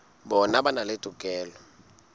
bona ba na le tokelo